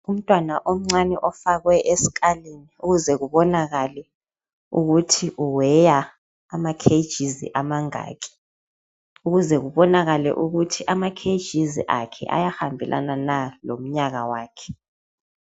Umntwana omncane ofakwe esikalini ukuze kubonakale ukuthi uweya ama"KG's" amangaki ukuze kubonakale ukuthi ama "KG's" akhe ayahambelana na lomnyaka wakhe.